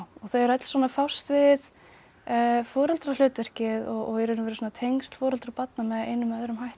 þau eru öll svona að fást við foreldrahlutverkið og tengsl foreldra og barna með einum eða öðrum hætti